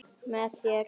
Með þér.